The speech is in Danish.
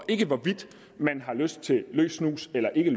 ikke er hvorvidt man har lyst til løs snus eller ikke